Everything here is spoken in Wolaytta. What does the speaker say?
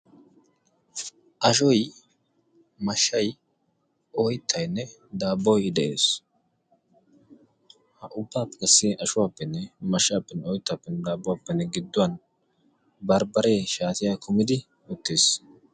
Ashoy mashshay oyttayinne daabboy de'ees. Ettappe giddon qassi bambbareee de'ees.